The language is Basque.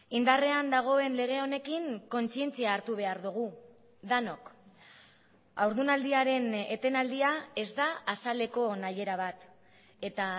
indarrean dagoen lege honekin kontzientzia hartu behar dugu denok haurdunaldiaren etenaldia ez da azaleko nahiera bat eta